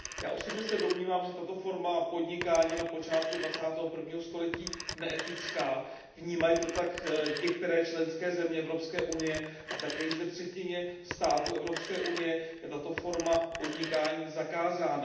Já osobně se domnívám, že je tato forma podnikání na počátku jedenadvacátého století neetická, vnímají to tak některé členské země Evropské unie a také již ve třetině států Evropské unie je tato forma podnikání zakázána.